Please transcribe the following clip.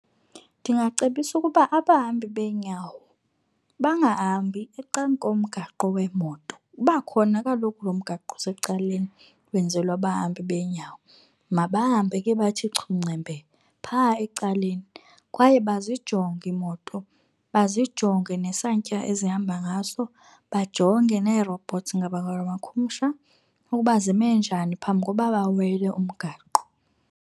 Ndingacebisa ukuba abahambi beenyawo bangahambi ecan'komgaqo weemoto. Uba khona kaloku lo mgaqo osecaleni, wenzelwe abahambi beenyawo. Mabahambe ke bathi chu ngcembe pha ecaleni, kwaye bazijonge iimoto, bazijonge nesantya ezihamba ngaso, bajonge nee-robots, ngabula makhumsha, ukuba zime njani phambi koba bawele umgaqo.